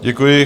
Děkuji.